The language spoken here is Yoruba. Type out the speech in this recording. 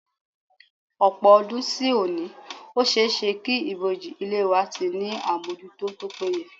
Ọ̀pọ̀ ọdún sí òní, ó ṣe é ṣé kí ìbòji ilẹ̀ wa ti ní àmójútó tó péye